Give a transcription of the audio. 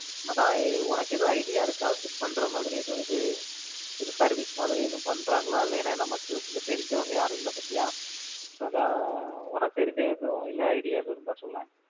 அதான் உனக்கு ஏதுவும் idea இருக்கா shift பண்ற மாதிரி எதுவும் இது, service மாதிரி ஏதாவது பண்றாங்களா, ஏன்னா நமக்கு தெரிஞ்சவங்க யாரும் இல்ல பார்த்தியா அதான் உனக்கு தெரிஞ்ச எதுவும் இல்ல idea இருந்தா சொல்லேன்.